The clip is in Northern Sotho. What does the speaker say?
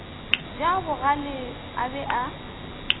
ja bogale a be a